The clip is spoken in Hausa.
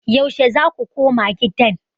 Yaushe za ku koma gidan?